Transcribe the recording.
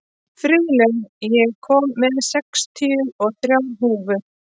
Friðlaugur, ég kom með sextíu og þrjár húfur!